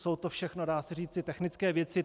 Jsou to všechno, dá se říci, technické věci.